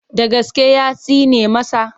Da gaske ya tsine masa?